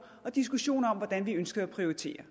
og diskussioner om hvordan vi ønskede at prioritere